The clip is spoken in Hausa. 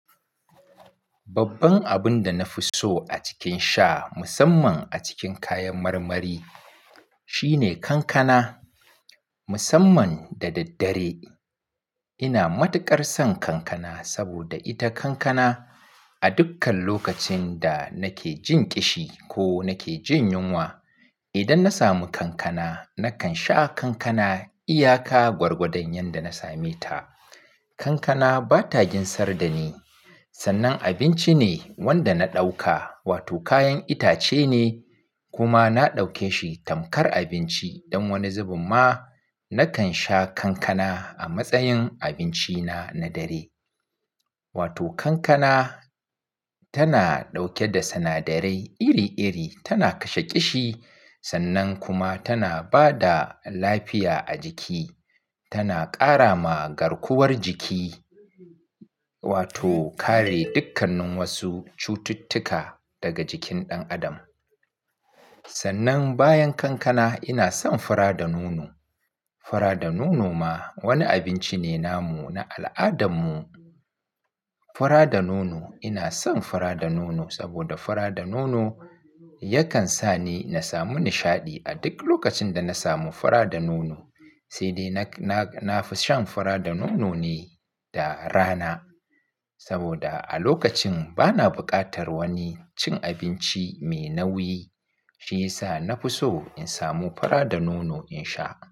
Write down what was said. Babban abun da na fi so a cikin sha, musamman a cikin kayan marmari, shine kankana, musamman da daddare. Ina matukar son kankana saboda ita kankana a dukkan lokacin da nake jin ƙishi ko nake jin yunwa. Idan na samu kankana, nakan sha kankana iyaka gwargwadon yanda na same ta. Kankana ba ta ginsar da ni. Sannan abinci ne wanda na ɗauka wato kayan itace ne kuma na ɗauke shi tamkar abinci. Don wani zubin ma nakan sha kankana a matsayin abinci na na dare. Wato kankana tana ɗauke da sinadarai iri-iri, tana kashe ƙishi sannan kuma tana ba da lafiya a jiki. Tana ƙara ma garkuwar jiki wato kare dukkanin wasu cututtuka daga jikin ɗan adam. Sannan bayan kankana ina son fura da nono. Fura da nono ma wani abinci ne namu na al'adarmu. Fura da nono ina son fara da nono saboda fara da nono yakan sa ni na samu nishaɗi a duk lokacin da na samu fara da nono. Sai dai na fi shan fara da nono ne da rana saboda a lokacin bana buƙatar wani cin abinci mai nauyi. Shi ya sa na fi so in samu fara da nono in sha.